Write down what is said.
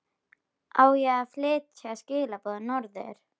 Á ég að flytja skilaboð norður?